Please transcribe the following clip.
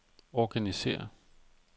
organisér